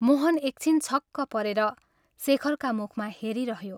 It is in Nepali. मोहन एकछिन छक्क परेर शेखरका मुखमा हेरिरह्यो।